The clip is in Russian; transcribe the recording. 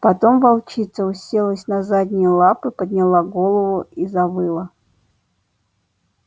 потом волчица уселась на задние лапы подняла голову и завыла